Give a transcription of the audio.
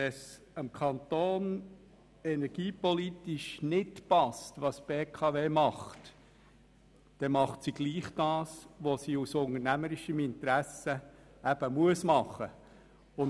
Wenn dem Kanton energiepolitisch nicht passt, was die BKW macht, dann macht diese trotzdem das, was sie aus unternehmerischem Interesse machen muss.